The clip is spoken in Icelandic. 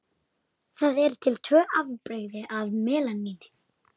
Það eru til tvö afbrigði af melaníni.